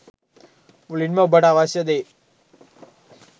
මුලින්ම ඔබට අවශ්‍ය දේ